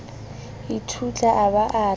ithutla a ba a re